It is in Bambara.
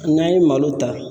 N'an ye malo ta